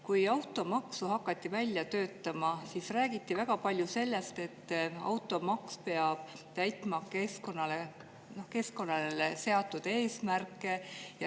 Kui automaksu hakati välja töötama, siis räägiti väga palju sellest, et automaks peab täitma seatud keskkonnaeesmärke.